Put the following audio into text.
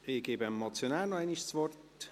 Ich gebe dem Motionär noch einmal das Wort.